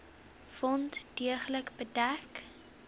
wond deeglik bedek